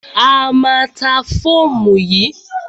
A má a ta fóòmù yìí.